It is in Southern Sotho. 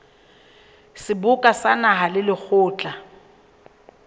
seboka sa naha le lekgotla